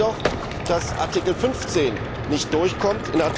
Schade ist jedoch, dass Artikel 15 nicht durchkommt.